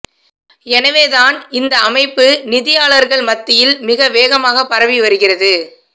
எனவே தான் இந்த அமைப்பு நிதியாளர்கள் மத்தியில் மிக வேகமாகப் பரவி வருகிறது